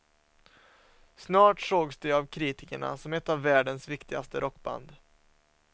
Snart sågs de av kritikerna som ett av världens viktigaste rockband.